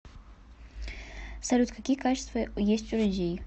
салют какие качества есть у людей